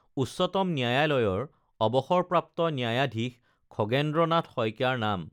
উচ্চতম ন্যায়ালয়ৰ অৱসৰপ্ৰাপ্ত ন্যায়াধীশ খগেন্দ্ৰ নাথ শইকীয়াৰ নাম